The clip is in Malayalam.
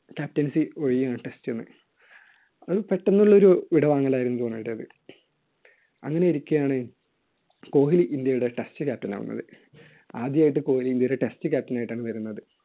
captaincy ഒഴിയാണ് test ൽന്ന്. ഒരു പെട്ടെന്നുള്ള ഒരു വിടവാങ്ങൽ ആയിരുന്നു ധോണിയുടേത്. അങ്ങനെയിരിക്കെയാണ് കോഹ്ലി ഇൻഡ്യയുടെ test captain ആകുന്നത്. ആദ്യായിട്ട് കോഹ്ലി ഇൻഡ്യയുടെ test captain ആയിട്ടാണ് വരുന്നത്.